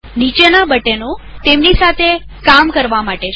નીચેના બટનો તેમની સાથે કામ કરવા માટે છે